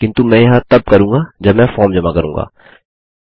किन्तु मैं यह तब करूँगा जब मैं फॉर्म जमा करूँगा